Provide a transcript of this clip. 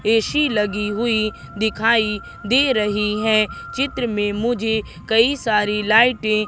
AC लगी हुई दिखाई दे रही हैं चित्र मे मुझे कई सारी लाइटें --